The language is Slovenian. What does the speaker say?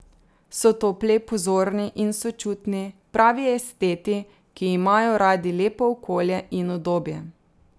So topli, pozorni in sočutni, pravi esteti, ki imajo radi lepo okolje in udobje.